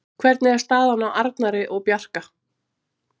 Hvernig er staðan á Arnari og Bjarka?